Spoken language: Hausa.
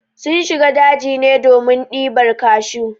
Sun shiga daji ne domin ɗibar kashu.